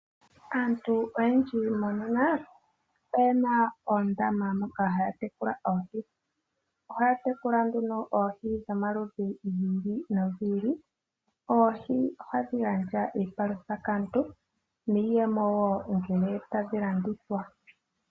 Aantu oyendji monena oyena oondama moka haya tekula oohi. Ohaya tekula nduno oohi dhomaludhi gi ili nogi ili. Oohi ohadhi gandja iipalutha kaantu niiyemo wo ngele tadhi landithwa.